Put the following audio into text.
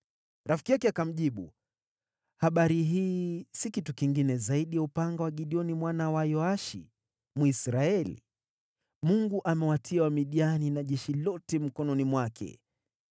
Rafiki yake akamjibu, “Habari hii si kitu kingine zaidi ya upanga wa Gideoni mwana wa Yoashi, Mwisraeli. Mungu amewatia Wamidiani na jeshi lote mkononi mwake.”